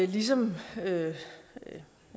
vi ligesom en